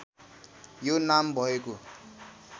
यो नाम भएको